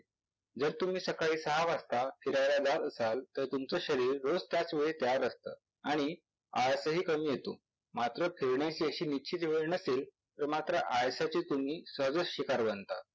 जर तुम्ही सकाळी सहा वाजता फिरायला जात असाल तर तुमच शरीर रोज त्याच वेळी तयार असत आणि आळसहि कमी येतो. मात्र फिरण्याची अशी निश्चित वेळ नसेल तर मात्र आळसाचे तुम्हीं सर्वच शिकार बनता.